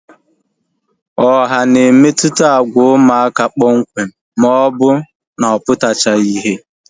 Ọha na-emetụta agwa ụmụaka kpọmkwem maọbụ aputachaghi ihe